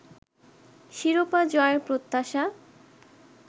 শিরোপা জয়ের প্রত্যাশা